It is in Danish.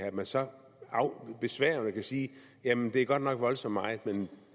at man så besværgende vil sige jamen det er godt nok voldsomt meget men